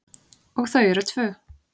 Og þau eru tvö.